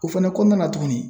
O fɛnɛ kɔnɔna na tuguni